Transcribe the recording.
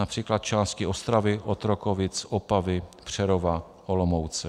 Například části Ostravy, Otrokovic, Opavy, Přerova, Olomouce.